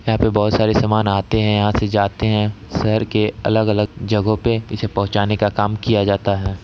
यहाँ पर बहोत सारे सामान आते है यहाँ से जाते है सेहर के अलग-अलग जगहो पे इसे पहुंचाने का काम किया जाता है।